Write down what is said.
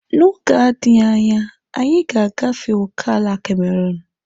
N'oge na-adịghị anya, anyị ga-agafe ókèala Cameruun.